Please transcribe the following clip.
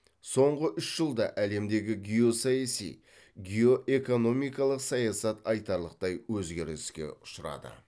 соңғы үш жылда әлемдегі геосаяси геоэкономикалық саясат айтарлықтай өзгеріске ұшырады